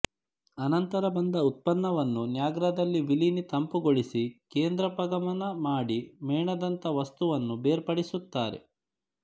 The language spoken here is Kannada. ಅನಂತರ ಬಂದ ಉತ್ಪನ್ನವನ್ನು ನ್ಯಾಗ್ರಾದಲ್ಲಿ ವಿಲೀನಿ ತಂಪುಗೊಳಿಸಿ ಕೇಂದ್ರಾಪಗಮನ ಮಾಡಿ ಮೇಣದಂಥ ವಸ್ತುವನ್ನು ಬೇರ್ಪಡಿಸುತ್ತಾರೆ